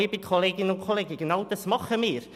Genau das tun wir.